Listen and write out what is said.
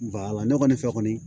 ne kɔni fɛ kɔni